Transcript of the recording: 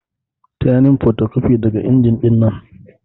Taya ni yin fotocopi daga inji dinnan.